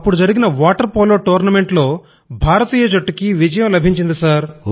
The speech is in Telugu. అక్కడ జరిగిన వాటర్ పోలో టూర్నమెంట్ లో భారతీయ జట్టుకి విజయం లభించింది సర్